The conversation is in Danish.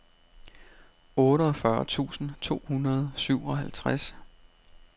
otteogfyrre tusind to hundrede og syvoghalvtreds